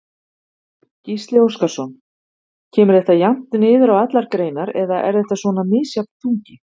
Gísli Óskarsson: Kemur þetta jafnt niður á allar greinar eða er þetta svona misjafn þungi?